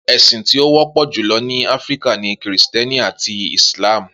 Esin ti o wọpọ julọ ni Afirika ni Kristiẹniti ati Islam.